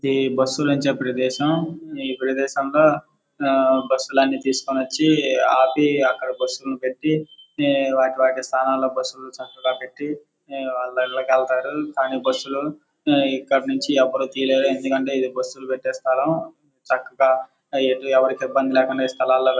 ఇది బస్సు నుంచే ప్రదేశం ఈ ప్రదేశంలో ఆ బస్సు లన్ని తీసుకొని వచ్చి ఆపి అక్కడ బస్సు లుని పెట్టి వాటి స్థానాల్లో బస్సు లుని చక్కగా పెట్టి వాళ్ళు ఇళ్లలోకి వెళ్తారు కానీ బస్సు లు ఎవరు తీయలేరు ఎందుకంటే ఇది బస్సు లు పెట్టే స్థలం చక్కగా ఎటు ఎవరూ ఇబ్బంది పడకుండా ఈ స్థలాల్లో --